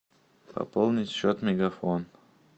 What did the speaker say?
пополнить счет мегафон